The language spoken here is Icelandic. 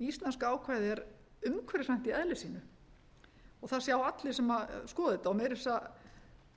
íslenska ákvæðið er um umhverfisvænt í eðli sínu það sjá allir sem skoða þetta meira að segja